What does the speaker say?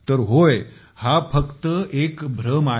तर होय हा फक्त एक भ्रम आहे